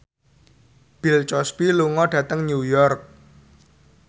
Bill Cosby lunga dhateng New York